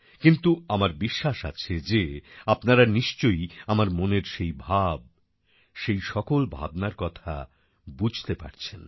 কিন্তু আমার বিশ্বাস আছে যে আপনারা নিশ্চয়ই আমার মনের সেই ভাব সেই সকল ভাবনার কথা বুঝতে পারছেন